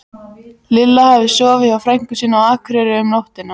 Lilla hafði sofið hjá frænku sinni á Akureyri um nóttina.